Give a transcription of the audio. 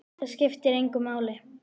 Það skiptir engu máli!